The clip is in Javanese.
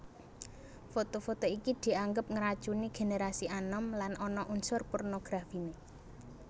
Foto foto iki dianggep ngracuni génerasi anom lan ana unsur pornografiné